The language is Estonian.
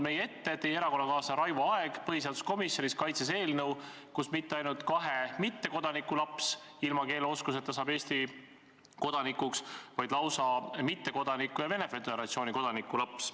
Teie erakonnakaaslane Raivo Aeg kaitses põhiseaduskomisjonis eelnõu, kus mitte ainult kahe mittekodaniku laps ilma keeleoskuseta saab Eesti kodanikuks, vaid seda saab lausa mittekodaniku ja Venemaa Föderatsiooni kodaniku laps.